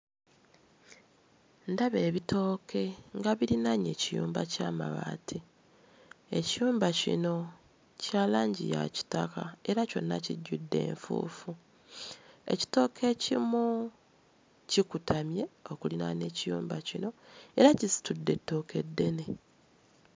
Ndaba ebitooke nga birinaanye ekiyumba ky'amabaati, ekiyumba kino kya langi ya kitaka era kyonna kijjudde enfuufu. Ekitooke ekimu kikutamye okuliraana ekiyumba kino era kisitudde ettooke ddene.